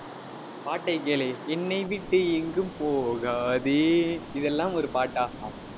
பாட்டைக் கேளு என்னை விட்டு எங்கும் போகாதே இதெல்லாம் ஒரு பாட்டா